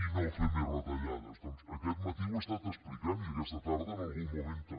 i no fer més retallades doncs aquest matí ho he estat explicant i aquesta tarda en algun moment també